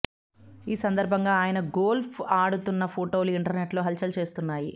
ఈ సందర్భం గా ఆయన గోల్ఫ్ ఆడుతున్న ఫోటోలు ఇంటర్నెట్ లో హల్ చల్ చేస్తున్నాయి